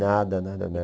Nada, nada, nada.